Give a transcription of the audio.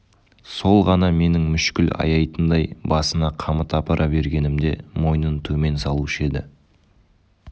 сол ғана менің мүшкіл аяйтындай басына қамыт апара бергенімде мойнын төмен салушы еді